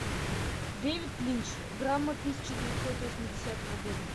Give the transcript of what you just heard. дэвид линч драма тысяча девятьсот восьмидесятого года